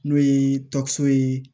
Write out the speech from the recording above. N'o ye ye